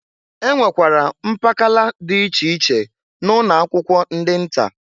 E nwere mpakala dị iche iche na ụnọ akwụkwọ ndị nta.